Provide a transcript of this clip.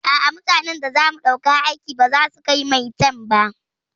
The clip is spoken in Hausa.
A'a, mutanan da zamu ɗauka aiki baza su kai maitan ba.